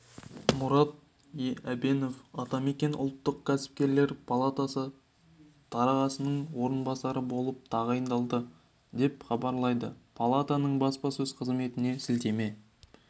мұрат әбенов атамекен ұлттық кәсіпкерлер палатасы төрағасының орынбасары болып тағайындалды деп хабарлайды палатаның баспасөз қызметіне сілтеме